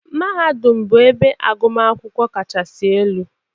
Mahadum bụ ebe agụmakwụkwọ kachasị alụ